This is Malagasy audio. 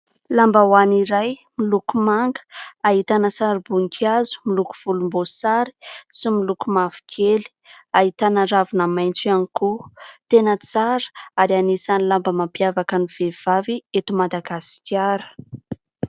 Lambahoany iray miloko manga ahitana sarim-boninkazo miloko volomboasary sy miloko mavokely, ahitana ravina maitso ihany koa. Tena tsara ary anisan'ny lamba mampiavaka ny vehivavy eto Madagasikara.